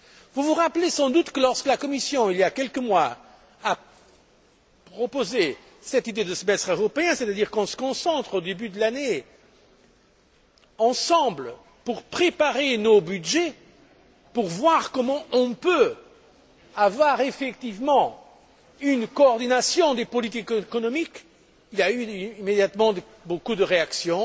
Vous vous rappelez sans doute que, lorsque la Commission, il y a quelques mois, a proposé cette idée de semestre européen, c'est à dire qu'on se concerte au début de l'année, ensemble, pour préparer nos budgets, pour voir comment on peut avoir effectivement une coordination des politiques économiques, il y a eu immédiatement beaucoup de réactions